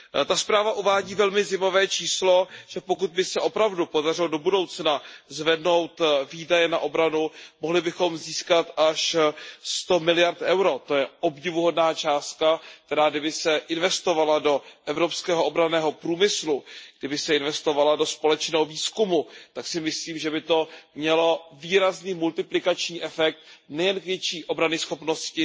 Ta zpráva uvádí velmi zajímavé číslo, že pokud by se opravdu podařilo do budoucna zvednout výdaje na obranu, mohli bychom získat až 100 miliard eur, to je obdivuhodná částka, která kdyby se investovala do evropského obranného průmyslu, kdyby se investovala do společného výzkumu, tak si myslím, že by to mělo výrazný multiplikační efekt nejen k větší obranyschopnosti,